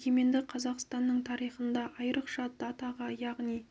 егеменді қазақстанның тарихында айрықша датаға яғни